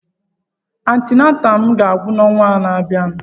Antinataalụ m aga-agwụ n'ọnwa na-abịa?